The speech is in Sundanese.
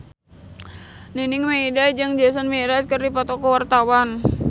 Nining Meida jeung Jason Mraz keur dipoto ku wartawan